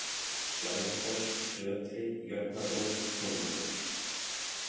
Slæðufoss, Tötri, Jötnabrú, Hlunkur